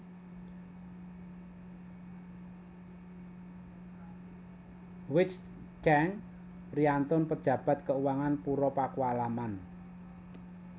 Wijnchenk priyantun pejabat keuangan Pura Paku Alaman